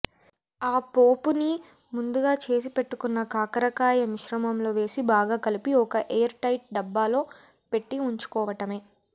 ఆ పోపుని ముందుగా చేసిపెట్టుకున్న కాకరకాయ మిశ్రమంలో వేసి బాగా కలపి ఒక ఎయిర్ టైట్ డబ్బాలో పెట్టి ఉంచుకోవటమే